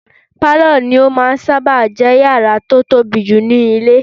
Pálọ̀ ní ó máà ń sáábà jẹ́ yàrá tó tóbi jù nínú ilé